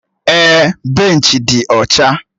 Èè, benchi dị ọcha